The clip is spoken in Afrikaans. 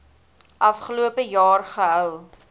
afgelope jaar gehou